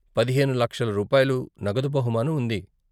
పదిహేను లక్షల రూపాయలు నగదు బహుమానం ఉంది.